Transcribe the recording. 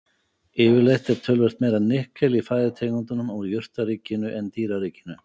Yfirleitt er töluvert meira nikkel í fæðutegundum úr jurtaríkinu en dýraríkinu.